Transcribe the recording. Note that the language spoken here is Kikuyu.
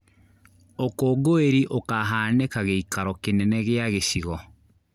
Ũkũnguĩri ũkahanĩka gĩikaro kĩnene gia gĩcigo